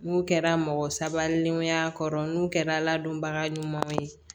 N'u kɛra mɔgɔ sabalilenw y'a kɔrɔ n'u kɛra ala donbaga ɲumanw ye